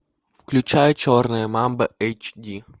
включай черная мамба эйч ди